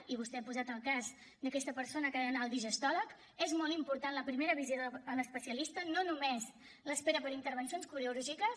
i vostè ha posat el cas d’aquesta persona que ha d’anar al digestòleg és molt important la primera visita a l’especialista no només l’espera per a intervencions quirúrgiques